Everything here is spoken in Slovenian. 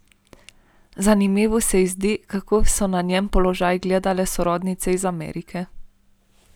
Zanimivo se ji zdi, kako so na njen položaj gledale sorodnice iz Amerike.